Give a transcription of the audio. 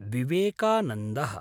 विवेकानन्दः